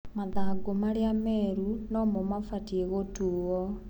Mathangũ maria meru nomũ mabatie gũtuo.